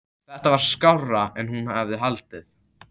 Þetta var skárra en hún hafði haldið.